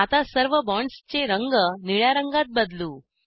आता सर्व बॉण्ड्सचे रंग निळ्या रंगात बदलू